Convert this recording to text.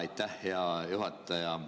Aitäh, hea juhataja!